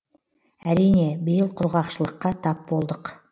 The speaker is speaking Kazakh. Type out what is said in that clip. әрине биыл құрғақшылыққа тап болдық